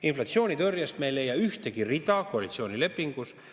Inflatsioonitõrjest me ei leia ühtegi rida koalitsioonilepingus.